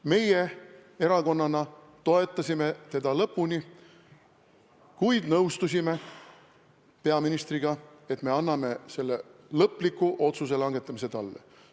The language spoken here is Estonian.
Meie erakonnana toetasime teda lõpuni, kuid nõustusime peaministriga, et me anname lõpliku otsuse langetamise talle üle.